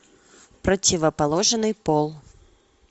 противоположный пол